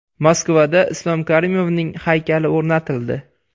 Moskvada Islom Karimovning haykali o‘rnatildi.